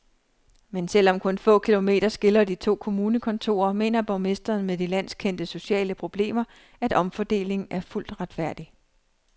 Men selv om kun få kilometer skiller de to kommunekontorer, mener borgmesteren med de landskendte sociale problemer, at omfordelingen er fuldt retfærdig.